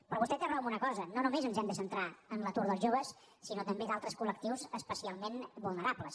però vostè té raó en una cosa no només ens hem de centrar en l’atur dels joves sinó també d’altres col·lectius especialment vulnerables